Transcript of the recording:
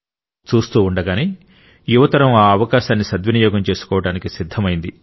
చూస్తూ ఉండగానే యువతరం ఆ అవకాశాన్ని సద్వినియోగం చేసుకోవడానికి సిద్ధమైంది